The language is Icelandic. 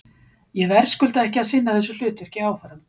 Ég verðskulda ekki að sinna þessu hlutverki áfram.